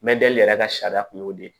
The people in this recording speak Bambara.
Mɛdɛli yɛrɛ ka sariya kun y'o de ye